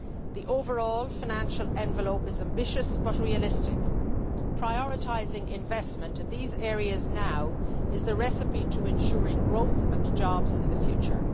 The overall financial envelope is ambitious but realistic. Prioritising investment in these areas now is the recipe to ensuring growth and jobs in the future.